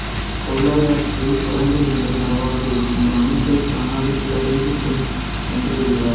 பொருளாதாரத்தில் சுரண்டல் என்பது நடவாது இந்த அமைப்பு தானாக சீரடைந்து விடும் என்றும் கூறியுள்ளார்